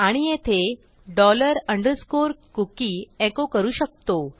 आणि येथे dollar underscore cookie echo करू शकतो